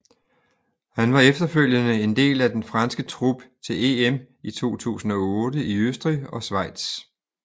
Han var efterfølgende en del af den franske trup til EM i 2008 i Østrig og Schweiz